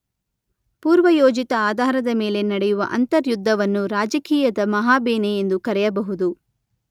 ಪೂರ್ವಯೋಜಿತ ಆಧಾರದ ಮೇಲೆ ನಡೆಯುವ ಅಂತರ್ಯುದ್ಧವನ್ನು ರಾಜಕೀಯದ ಮಹಾಬೇನೆ ಎಂದು ಕರೆಯಬಹುದು.